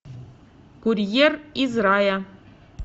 курьер из рая